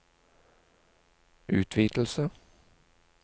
utvidelse